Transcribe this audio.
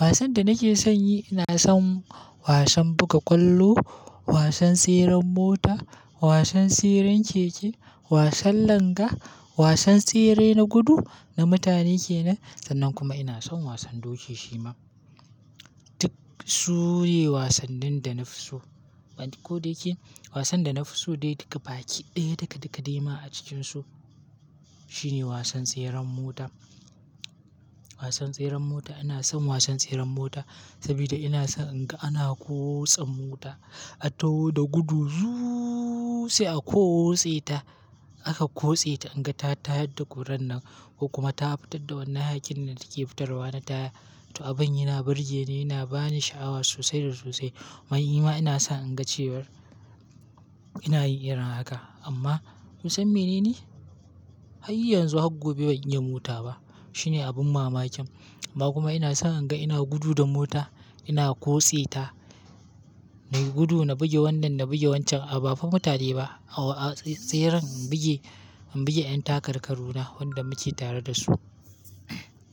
Wasan da nake son yi, ina son wasan buga kwallo, wasan tseren mota, wasan tseren keke, wasan langa, wasan tsere na gudu na mutane kenan. Sannan kuma ina son wasan doki shi ma. Duk su ne wasannin da na fi so. Ko da yake wasan da na fi so dai duka, baki ɗaya duka duka dai ma a cikinsu shi ne wasan tseren mota. Wasan tseren mota ina son wasan tseren mota saboda ina son in ga ana ƙose mota, a taho da gudu zuuu sai aka ƙose ta, aka ƙose ta in ga ta tayar da kuran nan ko kuma ta fitar da wannan hakkin da take fitarwa na taya. To abin yana burge ni, yana ba ni sha'awa sosai da sosai. Wai ima ina son in ga cewar ina yin irin haka amma kun san mainene har yanzu har gobe ban yi mota ba. Shine abin mamakin. Ba kuma ina son in ga ina gudu da mota, ina ƙose ta, nai gudu na bugi wannan, na bugi wancan a ba fa mutane ba. A tseren in bugi, in bugi ƴan takarkaruna wanda muke tare da su.